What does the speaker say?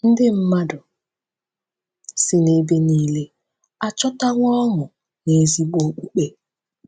Ndị mmadụ si n’ebe niile achọtawo ọṅụ n’ezigbo okpukpe